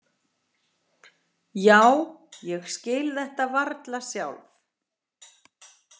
Já, ég skil þetta varla sjálf.